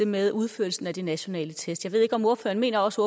med udførelsen af de nationale test jeg mener også